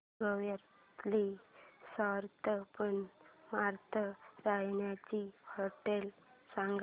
गोव्यातली स्वस्त पण मस्त राहण्याची होटेलं सांग